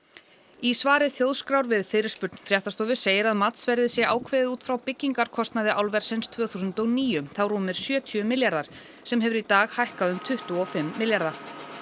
í svari Þjóðskrár við fyrirspurn fréttastofu segir að matsverðið sé ákveðið út frá byggingarkostnaði álversins tvö þúsund og níu þá rúmir sjötíu milljarðar sem hefur í dag hækkað um tuttugu og fimm milljarða